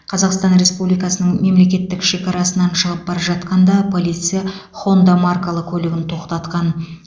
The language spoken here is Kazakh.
қазақстан республикасының мемлекеттік шекарасынан шығып бара жатқанда полиция хонда маркалы көлігін тоқтатқан